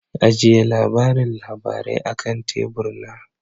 Ajiye labarin labarai akan tebur na.